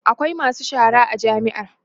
akwai masu shara a jami'a